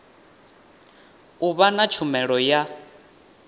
u vha na tshumelo ya